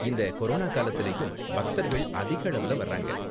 இந்த கொரோனா காலத்துலயும், பக்தர்கள் அதிக அளவுல வராங்க.